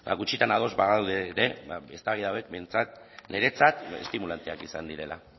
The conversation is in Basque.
gutxitan ados bagaude ere ba eztabaida hauek behintzat niretzat estimulanteak izan direla